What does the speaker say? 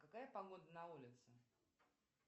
какая погода на улице